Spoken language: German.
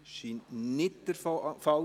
– Das ist nicht der Fall.